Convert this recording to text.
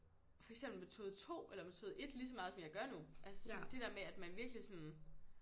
For eksempel metode 2 eller metode 1 lige så meget som jeg gør nu altså sådan det der med at man virkelig sådan